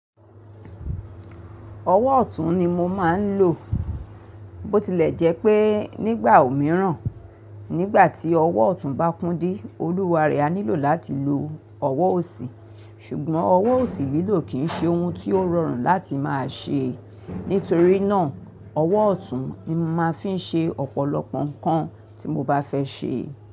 Ọwọ́ ọ̀tún ni mo máa ń lò. Bó tilẹ̀ jẹ́ pé nígbà òmíràn, nígbà tí ọwọ́ ọ̀tún bá kúndí, Olúware a nílò láti lo ọwọ́ òsì. Ṣùgbọ́n ọwọ́ òsì lílò kì í ṣe ohun tí ó rọrùn láti máa ṣe. Nítorí náà, ọwọ́ ọ̀tún ni mo máa fi ń ṣe ọ̀pọ̀lọpọ̀ nǹkan tí mo bá fẹ́ ṣe.